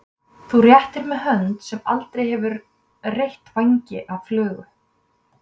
Þú réttir mér hönd sem aldrei hefur reytt vængi af flugu.